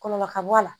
Kɔlɔlɔ ka bɔ a la